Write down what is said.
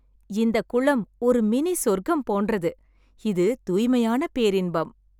இந்த குளம் ஒரு மினி சொர்க்கம் போன்றது, இது தூய்மையான பேரின்பம்.